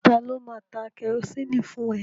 Ta ló máa ta kẹrosini fún ẹ?